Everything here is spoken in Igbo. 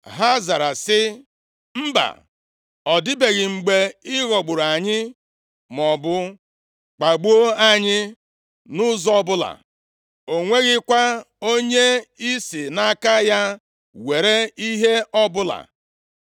Ha zara sị, “Mba ọ dịbeghị mgbe ị ghọgburu anyị, maọbụ kpagbuo anyị, nʼụzọ ọbụla. O nweghịkwa onye i si nʼaka ya were ihe ọbụla.”